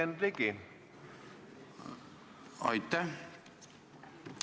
Aitäh!